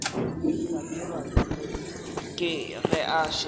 hlabirwa ke ge a šetše